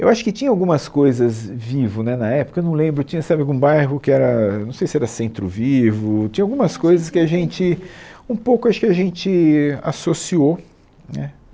Eu acho que tinha algumas coisas vivo né na época, eu não lembro, tinha sabe algum bairro que era, não sei se era Centro Vivo, tinha algumas coisas que a gente, um pouco, acho que a gente associou né.